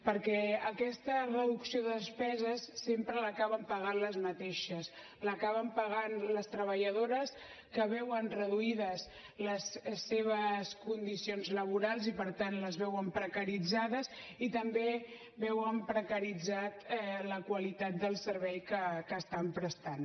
perquè aquesta reducció de despeses sempre l’acaben pagant les mateixes l’acaben pagant les treballadores que veuen reduïdes les seves condicions laborals i per tant les veuen precaritzades i també veuen precaritzada la qualitat del servei que estan prestant